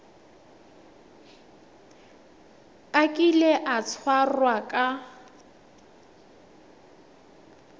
a kile a tshwarwa ka